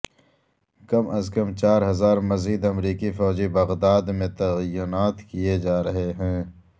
کم از کم چار ہزار مزید امریکی فوجی بغداد میں تعینات کیئے جا رہے ہیں